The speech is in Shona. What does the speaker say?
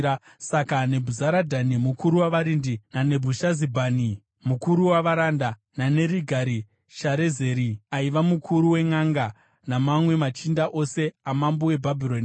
Saka Nebhuzaradhani mukuru wavarindi, naNebhushazibhani mukuru wavaranda, naNerigari-Sharezeri aiva mukuru wenʼanga namamwe machinda ose amambo weBhabhironi